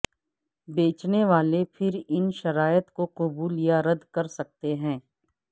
بیچنے والے پھر ان شرائط کو قبول یا رد کر سکتے ہیں